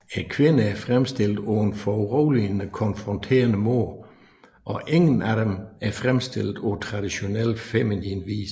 Kvinderne er fremstillet på en foruroligende konfronterende måde og ingen af dem er fremstillet på traditionel feminin vis